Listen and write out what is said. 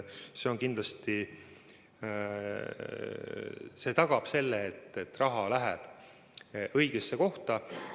See kindlasti tagab selle, et raha läheb õigesse kohta.